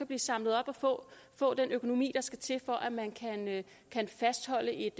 blive samlet op og få den økonomi der skal til for at man kan fastholde et